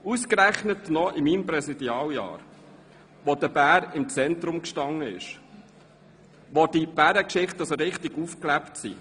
ausgerechnet noch innerhalb meines Präsidialjahres, in dem der Bär im Zentrum stand und durch die Bärengeschichten so richtig aufgelebt ist.